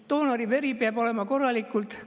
Ka doonori veri peab olema korralikult testitud.